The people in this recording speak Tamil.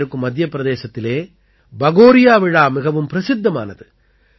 அருகே இருக்கும் மத்திய பிரதேசத்திலே பகோரியா விழா மிகவும் பிரசித்தமானது